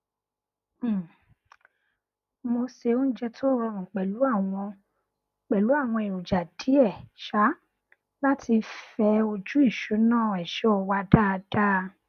um mo ṣe oúnjẹ tó rọrùn pẹlú àwọn pẹlú àwọn èròjà díẹ um láti fẹ ojú ìṣúná èso wa dáadáa